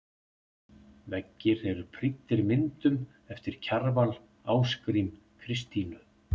Veggir eru prýddir myndum eftir Kjarval, Ásgrím, Kristínu